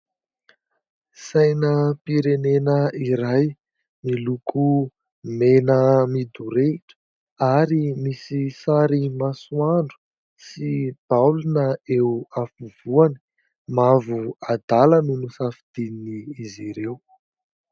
Sainam-pirenena iray miloko mena midorehitra, ary misy sary masoandro sy baolina eo afovoany mavo adala no nosafidiany izy ireo.